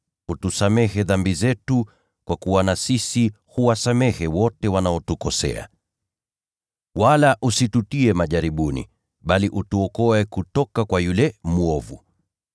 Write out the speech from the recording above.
Utusamehe dhambi zetu, kwa kuwa na sisi huwasamehe wote wanaotukosea. Wala usitutie majaribuni (bali utuokoe kutoka kwa yule mwovu).’ ”